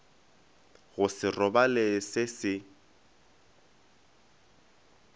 go se robale se se